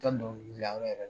I ka dɔnkilidayɔrɔ yɛrɛ yɛrɛ